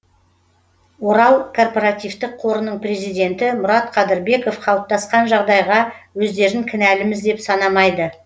орал корпоративтік қорының президенті мұрат қадырбеков қалыптасқан жағдайға өздерін кінәліміз деп санамайды